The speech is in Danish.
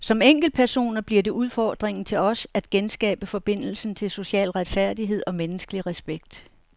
Som enkeltpersoner bliver det udfordringen til os at genskabe forbindelsen til social retfærdighed og menneskelig respekt.